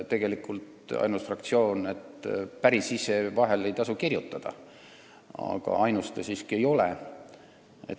Päris ise ei tasu vahel kirjutada, aga ainus te siiski ka ei ole.